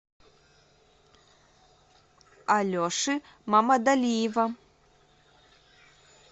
алеши мамадалиева